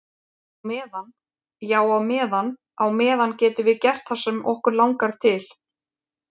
Á meðan, já á meðan á meðan getum við gert það sem okkur langar til.